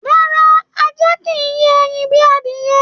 Rárá, ajá kìí yé ẹyin bíi adiyẹ.